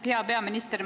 Hea peaminister!